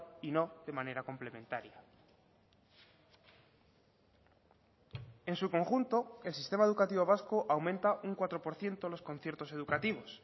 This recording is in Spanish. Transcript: y no de manera complementaria en su conjunto el sistema educativo vasco aumenta un cuatro por ciento los conciertos educativos